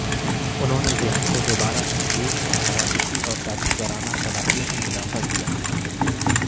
انہوں نے ذہن کو دوبارہ تخلیق اور حراستی اور دانشورانہ صلاحیت میں اضافہ کیا